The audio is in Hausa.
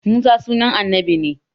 Musa sunan annabi ne